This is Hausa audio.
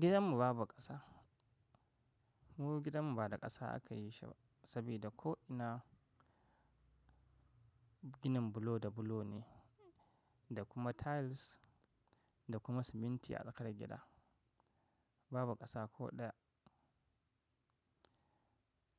Gidanmu babu ƙasa. Mu gidanmu ba da ƙasa aka yi shi ba sabida ko'ina ginin bulo da bulo ne, da kuma tiles da kuma siminti a tsakar gida. Babu ƙasa ko ɗaya.